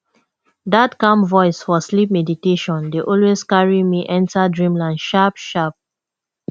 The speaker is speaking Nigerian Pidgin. that calm voice for sleep meditation dey always carry me enter dreamland sharp sharp